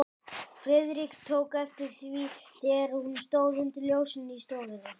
Friðrik tók eftir því, þegar hún stóð undir ljósinu í stofunni.